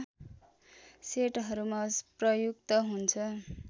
सेटहरूमा प्रयुक्त हुन्छ